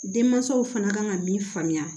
Denmansaw fana kan ka min faamuya